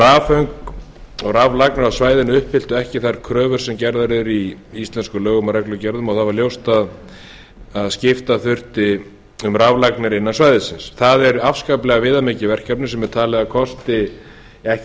rafföng og raflagnir á svæðinu uppfylltu ekki þær kröfur sem gerðar eru í íslenskum lögum og reglugerðum það var ljóst að skipta þurfti um raflagnir innan svæðisins það er afskaplega viðamikið verkefni sem er talið að kosti ekki